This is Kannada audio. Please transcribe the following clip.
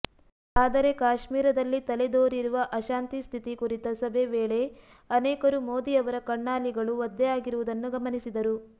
ಆದರೆ ಕಾಶ್ಮೀರದಲ್ಲಿ ತಲೆದೋರಿರುವ ಅಶಾಂತಿ ಸ್ಥಿತಿ ಕುರಿತ ಸಭೆ ವೇಳೆ ಅನೇಕರು ಮೋದಿ ಅವರ ಕಣ್ಣಾಲಿಗಳು ಒದ್ದೆಯಾಗಿರುವುದನ್ನು ಗಮನಿಸಿದರು